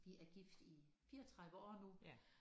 Vi er gift i 34 år nu